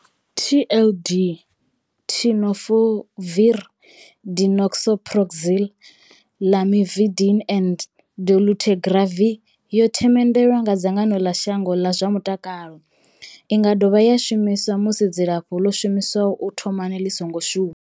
TLD, Tenofovir disoproxil, Lamivudine and dolutegravir, yo themendelwa nga dzangano ḽa shango ḽa zwa mutakalo. I nga dovha ya shumiswa musi dzilafho ḽo shumiswaho u thomani ḽi songo shuma.